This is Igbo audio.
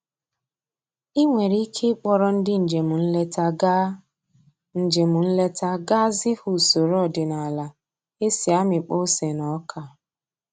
I nwere ike ịkpọrọ ndị njem nleta gaa njem nleta gaa zi ha usoro ọdịnaala e si amịkpọ ose na ọka